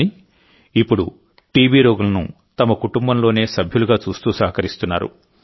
కానీ ఇప్పుడు టీబీ రోగులను తమ కుటుంబంలోనే సభ్యునిగా చూస్తూ సహకరిస్తున్నారు